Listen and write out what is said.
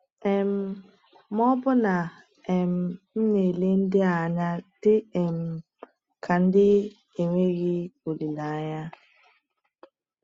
um Ma ọ̀ bụ na um m na-ele ndị a anya dị um ka ndị enweghị olileanya?